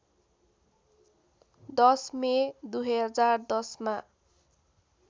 १० May २०१० मा